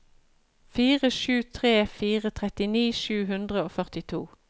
fire sju tre fire trettini sju hundre og førtito